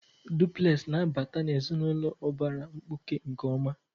Dupulesị na-abata ezinụlọ ụbara mkpuke nke ọma.